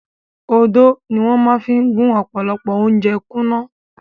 Odó ni wọ́n máa fi gún ọ̀pọ̀lọpọ̀ ounjẹ kúnná.